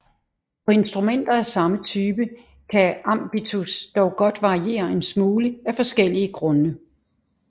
På instrumenter af samme type kan ambitus dog godt variere en smule af forskellige grunde